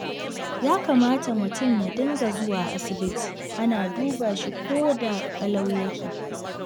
Ya kamata mutum ya dinga zuwa asibiti ana duba shi koda ƙalau ya ke.